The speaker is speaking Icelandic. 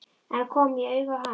En kom ég auga á hann?